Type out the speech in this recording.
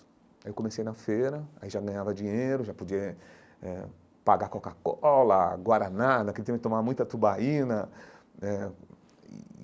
Aí eu comecei na feira, aí já ganhava dinheiro, já podia eh eh pagar Coca-Cola, Guaraná, naquele tempo a gente tomava muita tubaína eh e.